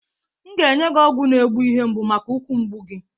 M ga-enye gi ọgwụ na egbu ihe mgbụ maka ukwu mgbụ gị?